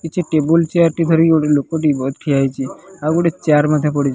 କିଛି table chair ଟି ଧରିକି ଗୋଟେ ଲୋକଟି ଠିଆ ହୋଇଚି ଆଉ ଗୋଟେ ଚେୟାର ମଧ୍ୟ ପଡିଚି ।